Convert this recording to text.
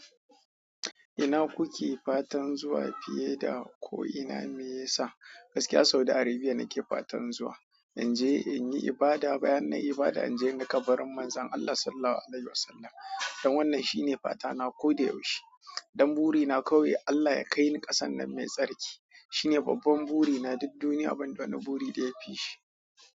Ina kuke fatan zuwa fiye da ko ina mai yasa? Gaskiya Saudi Arabia nake fatan zuwa. In je in yi ibada, bayan na yi ibada in je ni kabarin Manzon Allah Sallallahu Alaihi Wasallam. Dan wannan shine fatana ko da yaushe. Dan burina kawai Allah ya kai ni ƙasar nan mai tsarki. Shine babban burina, duk duniya banda wani buri daya kaishi.